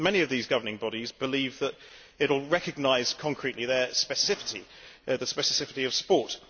Many of these governing bodies believe that it will recognise concretely their specificity, the specificity of sport.